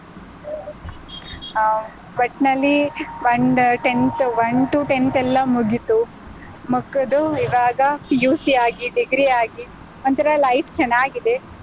ಆಹ್ ಒಟ್ನಲ್ಲಿ ಒಂದ್ tenth one to tenth ಎಲ್ಲಾ ಮುಗೀತು, ಮುಗ್ದು ಇವಾಗ PUC ಆಗಿ, degree ಆಗಿ ಒಂತರಾ life ಚೆನ್ನಾಗಿದೆ.